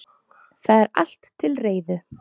Það er allt til reiðu.